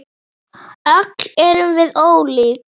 Öll erum við ólík.